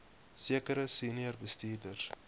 sekere senior bestuurders